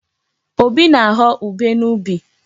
Obi na-aghọ ubé n'ubi.